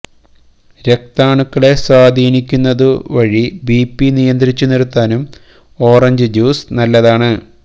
രക്താണുക്കളെ സ്വാധീനിക്കുന്നതു വഴി ബിപി നിയന്ത്രിച്ചു നിര്ത്താനും ഓറഞ്ച് ജ്യൂസ് നല്ലതാണ്